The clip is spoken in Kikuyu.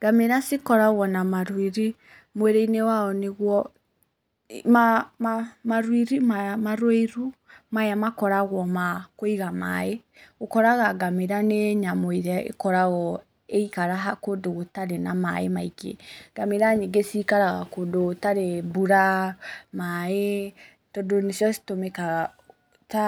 Ngamĩra cikoragwo na maruiri mwĩrĩ-inĩ wacio nĩguo, maruiri maya, maruiru maya makoragwo ma kũiga maaĩ, ũkoraga ngamĩra nĩ nyamũ ĩrĩa ĩkoragwo ĩgĩikara kũndũ gũtarĩ na maaĩ maingĩ. Ngamĩra nyingĩ cikaraga kũndũ gũtarĩ mbura, maaĩ, tondũ nĩcio citũmĩkaga ta